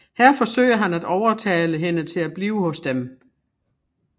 Her forsøger han at overtale hende til at blive hos dem